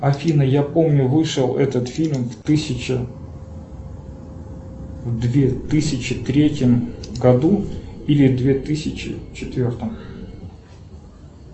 афина я помню вышел этот фильм в тысяча в две тысячи третьем году или две тысячи четвертом